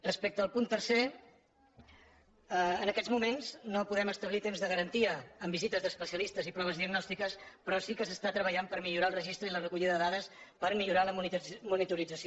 respecte al punt tercer en aquests moments no podem establir temps de garantia en visites d’especialistes i proves diagnòstiques però sí que s’està treballant per millorar el registre i la recollida de dades per millorar la monitorització